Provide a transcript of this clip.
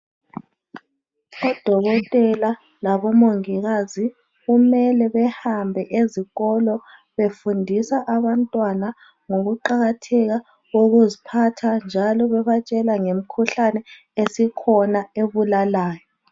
Odokotela labo Mongikazi kumele behambe ezikolo befundisa abantwana ngokuqakatheka kokuziphatha njalo bebatshela ngemikhuhlane esikhona ebulalayo.